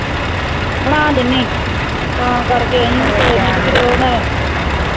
ਬਣਾ ਦੀਨੀ